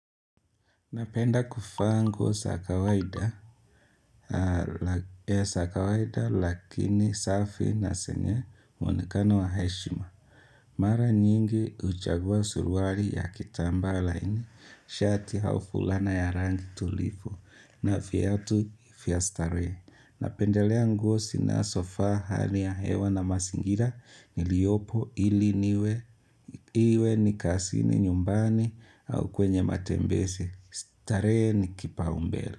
Napenda kuvaa nguo za kawaida, lakini safi na zenye mwonekano wa heshima. Mara nyingi huchagua surwali ya kitambaa laini, shati au fulana ya rangi tulivu, na viatu vya starehe. Napendelea nguo zinazofaa hali ya hewa na mazingira niliopo ili niwe, iwe ni kazini nyumbani au kwenye matembezi. Tarehe ni kipaumbele.